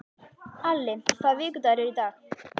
Alli, hvaða vikudagur er í dag?